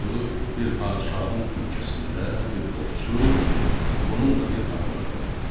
bir padşahın ölkəsində bir ovçu, onun da bir arvadı vardı.